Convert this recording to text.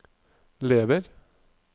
lever